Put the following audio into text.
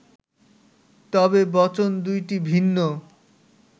তবে বচন দুইটি ভিন্ন